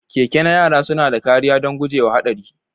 Keke na yara suna da kariya don guje wa haɗari.